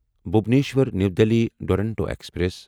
Bhubaneswar new Delhi Duronto express